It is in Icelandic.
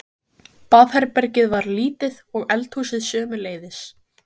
Baðherbergið var lítið og eldhúsið sömuleiðis.